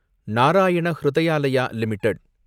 Narayana Hrudayalaya limited